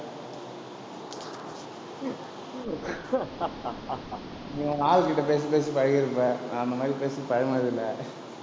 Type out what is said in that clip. நீ உங்க ஆள் கிட்ட பேசி, பேசி பழகியிருப்ப. நான் அந்த மாதிரி பேசி பழகினதில்லை